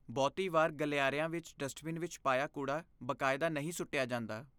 ਬਹੁਤੀ ਵਾਰ ਗਲਿਆਰਿਆਂ ਵਿੱਚ ਡਸਟਬਿਨ ਵਿੱਚ ਪਾਇਆ ਕੂੜਾ ਬਾਕਾਇਦਾ ਨਹੀਂ ਸੁੱਟਿਆ ਜਾਂਦਾ।